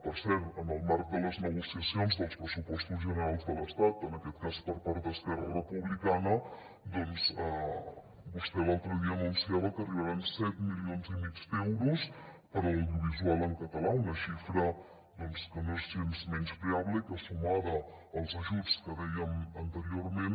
per cert en el marc de les negociacions dels pressupostos generals de l’estat en aquest cas per part d’esquerra republicana vostè l’altre dia anunciava que arribaran set milions i mig d’euros per a l’audiovisual en català una xifra que no és gens menyspreable i que sumada als ajuts que dèiem anteriorment